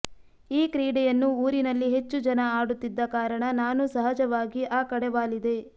ಈ ಕ್ರೀಡೆಯನ್ನು ಊರಿನಲ್ಲಿ ಹೆಚ್ಚು ಜನ ಆಡುತ್ತಿದ್ದ ಕಾರಣ ನಾನೂ ಸಹಜವಾಗಿ ಆ ಕಡೆ ವಾಲಿದೆ